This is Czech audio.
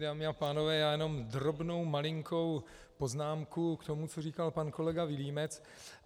Dámy a pánové, já jenom drobnou, malinkou poznámku k tomu, co říkal pan kolega Vilímec.